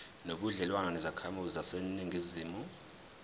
nobudlelwane nezakhamizi zaseningizimu